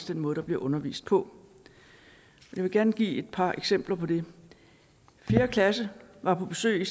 den måde der bliver undervist på jeg vil gerne give et par eksempler på det fjerde klasse var på besøg